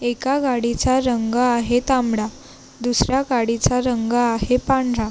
एका गाडीचा रंग आहे तांबडा दुसऱ्या गाडीचा रंग आहे पांढरा.